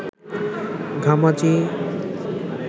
ঘামাচি